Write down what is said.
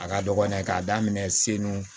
A ka dɔgɔn dɛ k'a daminɛ selu